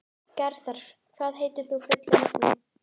Garðar, hvað heitir þú fullu nafni?